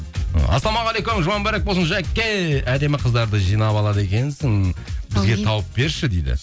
ы ассалаумағалейкум жұма мүбәрак болсын жаке әдемі қыздарды жинап алады екенсің бізге тауып берші дейді